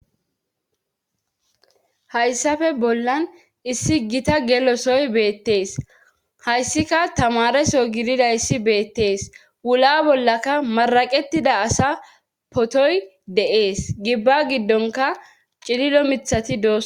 Hayssafe bollan issi gita gelosoy beettees hayssika tamareso gidida issi beettees wula bollaka maraqettida asa potoy de7ees gibba giddonka cililo mithati doos.